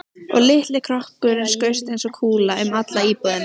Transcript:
Og litli kroppurinn skaust eins og kúla um alla íbúðina.